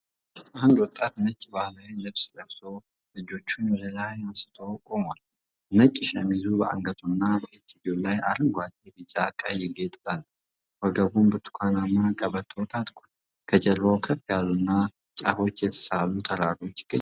አንድ ወጣት ነጭ ባህላዊ ልብስ ለብሶ፣ እጆቹን ወደ ላይ አንስቶ ቆሟል። ነጭ ሸሚዙ በአንገቱ እና በእጅጌው ላይ አረንጓዴ፣ ቢጫና ቀይ ጌጥ አለው፤ ወገቡም ብርቱካናማ ቀበቶ ታጥቋል። ከጀርባው ከፍ ያሉና ጫፎቻቸው የተሳሉ ተራሮች ይገኛሉ።